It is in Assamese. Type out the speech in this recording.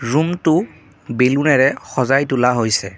ৰূমটো বেলুনেৰে সজাই তোলা হৈছে।